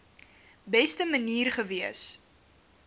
beste manier gewees